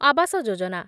Awas Yojana